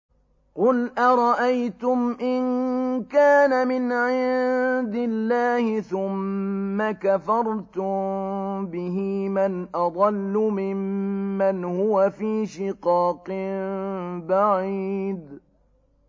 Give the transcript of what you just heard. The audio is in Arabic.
قُلْ أَرَأَيْتُمْ إِن كَانَ مِنْ عِندِ اللَّهِ ثُمَّ كَفَرْتُم بِهِ مَنْ أَضَلُّ مِمَّنْ هُوَ فِي شِقَاقٍ بَعِيدٍ